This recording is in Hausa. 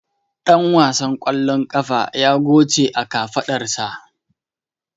Dan wasan ƙwallon ƙafa ya goce a kafadarsa.